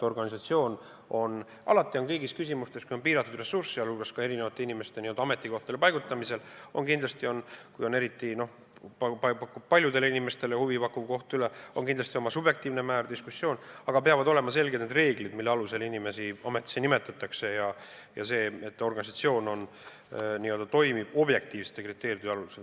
Organisatsioonis on alati kõigis küsimustes, kui on piiratud ressursid, sh inimeste ametikohtadele paigutamisel, eriti kui on paljudele inimestele huvi pakkuv koht üle, kindlasti oma subjektiivne määr, diskussioon, aga peavad olema selged reeglid, mille alusel inimesi ametisse nimetatakse, ja organisatsioon peab toimima objektiivsete kriteeriumite alusel.